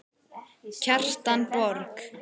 Kjartan Borg.